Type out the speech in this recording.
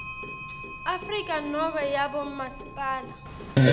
afrika nobe yabomasipala